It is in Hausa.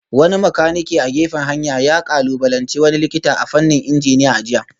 Wani makanike a gefen hanya ya kalubalanci wani likita a fannin injiniya a jiya